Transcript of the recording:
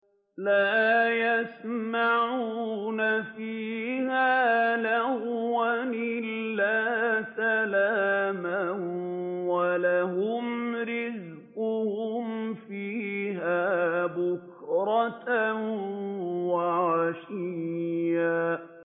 لَّا يَسْمَعُونَ فِيهَا لَغْوًا إِلَّا سَلَامًا ۖ وَلَهُمْ رِزْقُهُمْ فِيهَا بُكْرَةً وَعَشِيًّا